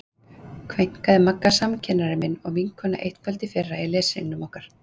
kveinaði Magga samkennari minn og vinkona eitt kvöld í fyrra í leshringnum okkar.